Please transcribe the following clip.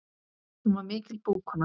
Hún var mikil búkona.